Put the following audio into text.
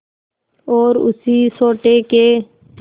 और उसी सोटे के